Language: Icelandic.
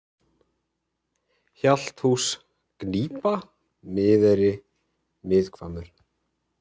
Hjalthús, Gnípa, Miðeyri, Miðhvammur